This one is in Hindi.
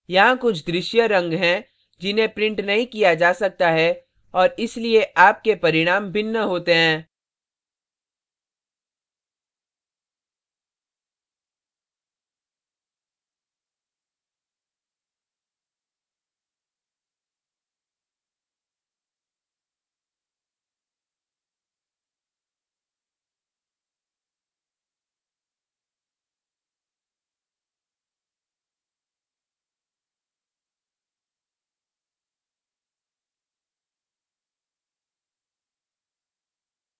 यहाँ कुछ दृश्य रंग हैं जिन्हें printed नहीं किया जा सकता है और इसलिए आपके परिणाम भिन्न होते हैं